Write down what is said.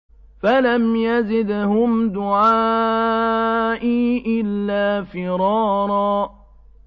فَلَمْ يَزِدْهُمْ دُعَائِي إِلَّا فِرَارًا